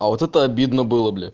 а вот это обидно было бля